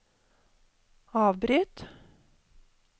avbryt